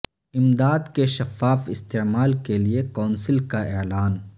امداد کے شفاف استعمال کے لیے کونسل کا اعلان